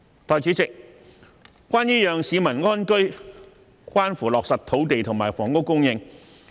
代理主席，要讓市民安居，關乎落實土地及房屋供應。